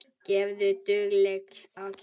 Gefðu duglega á kjaft.